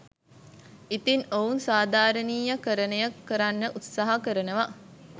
ඉතින් ඔවුන් සාධාරණීයකරණය කරන්න උත්සාහ කරනවා